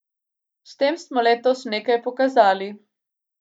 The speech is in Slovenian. S tem smo letos nekaj pokazali.